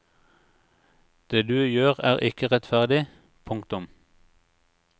Det du gjør er ikke rettferdig. punktum